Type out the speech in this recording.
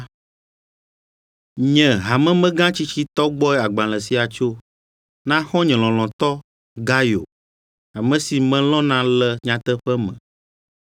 Nye, hamemegã tsitsitɔ gbɔe agbalẽ sia tso, Na xɔ̃nye lɔlɔ̃tɔ Gayo, ame si melɔ̃na le nyateƒe me.